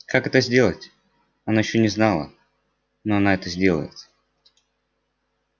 как это сделать она ещё не знала но она это сделает